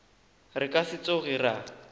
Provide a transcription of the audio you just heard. re ka se tsoge ra